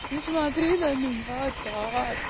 не смотри на меня так